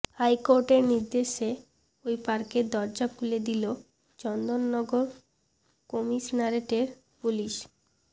হাইকোর্টের নির্দেশে ওই পার্কের দরজা খুলে দিল চন্দননগর কমিশনারেটের পুলিশ